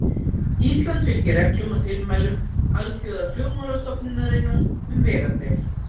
Ísland fylgir reglum og tilmælum Alþjóðaflugmálastofnunarinnar um vegabréf.